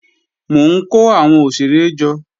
Mò ń kó àwọn òṣèré jọ